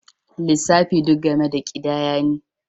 Lissafi duk game da ƙidaya ne